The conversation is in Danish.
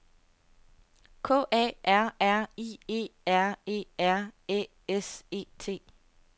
K A R R I E R E R Æ S E T